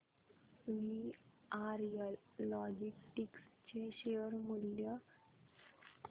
VRL logistics चे share मूल्य